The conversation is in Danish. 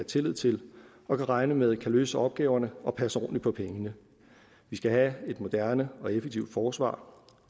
tillid til og kan regne med kan løse opgaverne og passe ordentligt på pengene vi skal have et moderne og effektivt forsvar